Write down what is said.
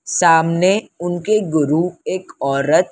सामने उनके गुरु एक औरत--